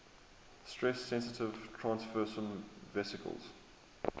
stress sensitive transfersome vesicles